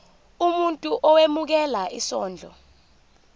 umuntu owemukela isondlo